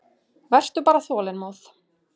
Vertu bara þolinmóð.